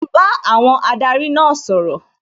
Mò ń bá àwọn adarí náà sọ̀rọ̀